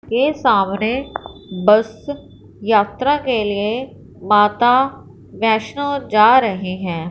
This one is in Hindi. के सामने बस यात्रा के लिए माता वैष्णो जा रहे हैं।